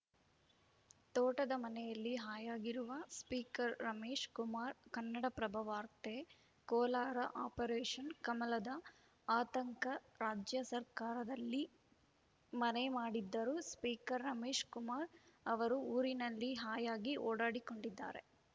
ತೋಟದ ಮನೆಯಲ್ಲಿ ಹಾಯಾಗಿರುವ ಸ್ಪೀಕರ್‌ ರಮೇಶ್‌ ಕುಮಾರ್‌ ಕನ್ನಡಪ್ರಭ ವಾರ್ತೆ ಕೋಲಾರ ಆಪರೇಷನ್‌ ಕಮಲದ ಆತಂಕ ರಾಜ್ಯ ಸರ್ಕಾರದಲ್ಲಿ ಮನೆ ಮಾಡಿದ್ದರೂ ಸ್ಪೀಕರ್‌ ರಮೇಶ್‌ ಕುಮಾರ್‌ ಅವರು ಊರಿನಲ್ಲಿ ಹಾಯಾಗಿ ಓಡಾಡಿಕೊಂಡಿದ್ದಾರೆ